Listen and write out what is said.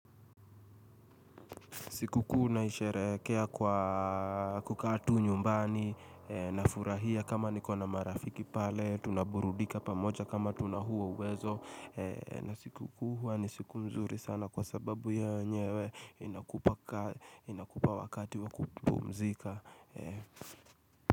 Siku kuu naisherekea kwa kukaa tu nyumbani nafurahia kama nikona marafiki pale tunaburudika pamoja kama tuna huo uwezo na siku kuu hua ni siku nzuri sana kwa sababu ya yenyewe inakupa wakati wa kupumzika.